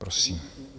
Prosím.